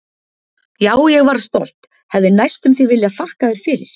Já, ég varð stolt, hefði næstum því viljað þakka þér fyrir.